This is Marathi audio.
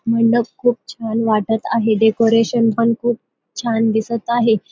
मंडप खूप छान वाटत आहे डेकोरेशन पण खूप छान वाटत आहे.